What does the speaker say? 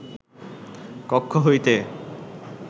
কক্ষ হইতে